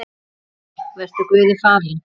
Elsku Guðný, vertu Guði falin.